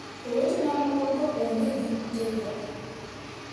Owetene mokogo onge gi kutego.